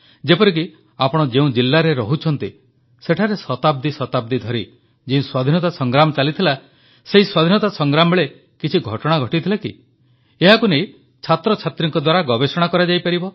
ଯେପରିକି ଆପଣ ଯେଉଁ ଜିଲାରେ ରହୁଛନ୍ତି ସେଠାରେ ଶତାବ୍ଦୀ ଶତାବ୍ଦୀ ଧରି ଯେଉଁ ସ୍ୱାଧୀନତା ସଂଗ୍ରାମ ଚାଲିଥିଲା ସେହି ସ୍ୱାଧୀନତା ସଂଗ୍ରାମବେଳେ କିଛି ଘଟଣା ଘଟିଥିଲା କି ଏହାକୁ ନେଇ ଛାତ୍ରଛାତ୍ରୀଙ୍କ ଦ୍ୱାରା ଗବେଷଣା କରାଯାଇପାରିବ